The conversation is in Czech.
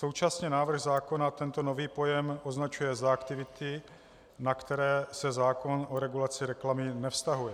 Současně návrh zákona tento nový pojem označuje za aktivity, na které se zákon o regulaci reklamy nevztahuje.